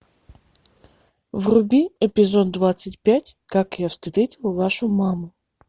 вруби эпизод двадцать пять как я встретил вашу маму